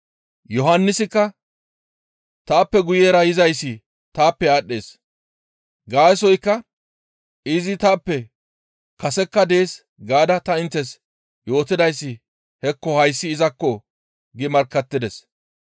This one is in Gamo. Yohannisikka, «Taappe guyera yizayssi taappe aadhdhees. Gaasoykka izi taappe kasekka dees gaada ta inttes yootidayssi hekko hayssi izakko!» gi markkattides.